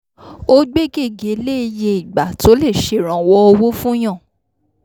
ó gbé gègé lé iye ìgbà tó lè ṣèrànwọ́ owó fún yàn